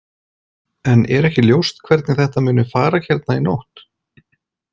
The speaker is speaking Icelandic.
En er ekki ljóst hvernig þetta muni fara hérna í nótt?